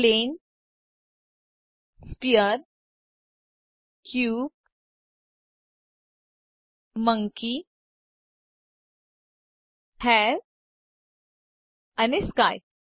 plane sphere cube monkey hair અને sky